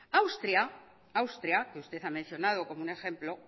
austria que usted ha mencionado como un ejemplo